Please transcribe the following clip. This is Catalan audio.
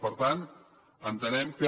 per tant entenem que